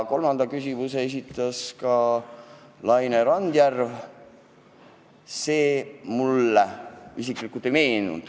Kolmanda küsimuse mulle esitas Laine Randjärv, selle sisu mulle praegu ei meenu.